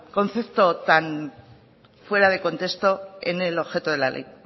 concepto tan fuera de contexto en el objeto de la ley